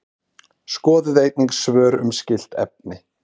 Skoðið einnig svör um skylt efni: